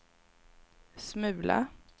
smula